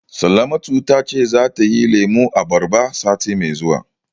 Salamatu ta ce zata yi lemun abarba sati mai zuwa.